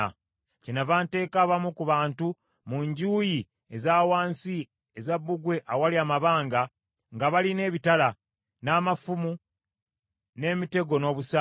Kyennava nteeka abamu ku bantu mu njuyi eza wansi eza bbugwe awali amabanga, nga balina ebitala, n’amafumu n’emitego n’obusaale.